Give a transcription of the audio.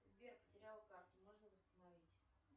сбер потеряла карту можно восстановить